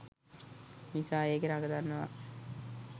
නිසා එකේ රඟ දන්නවා.